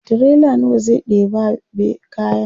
tirela nawa zai ɗeba be kayan?